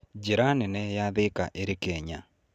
Njĩra nene ya Thika ĩrĩ Kenya.